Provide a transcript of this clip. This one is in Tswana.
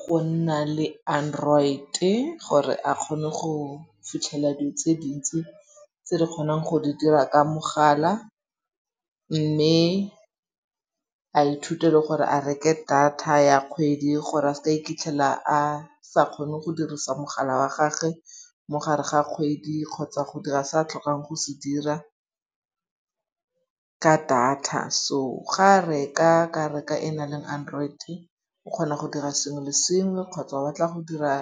go nna le Android-e gore a kgone go fitlhella dilo tse dintsi tse di kgonang go di dira ka mogala. Mme a ithute le gore a reke data ya kgwedi gore a seke a iphitlhela a sa kgone go dirisa mogala wa gagwe mogare ga kgwedi kgotsa go dira se a tlhokang go se dira ka data. So ga a reka, a ka reka e naleng Android-e, o kgona go dira sengwe le sengwe kgotsa o ba batla go dira